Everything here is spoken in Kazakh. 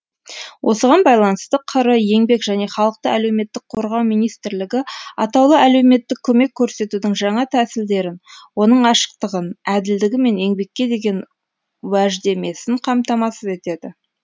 осыған байланысты қр еңбек және халықты әлеуметтік қорғау министрлігі атаулы әлеуметтік көмек көрсетудің жаңа тәсілдерін оның ашықтығын әділдігі мен еңбекке деген уәждемесін қамтамасыз етеді